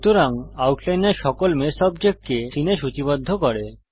সুতরাং আউটলাইনর সকল মেশ অবজেক্টকে সীনে সূচীবদ্ধ করে